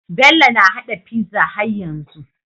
Bello na hada pizza har yanzu